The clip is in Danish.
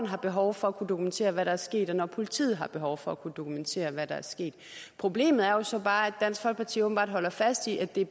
har behov for at kunne dokumentere hvad der er sket og når politiet har behov for at kunne dokumentere hvad der er sket problemet er jo så bare at dansk folkeparti åbenbart holder fast i at det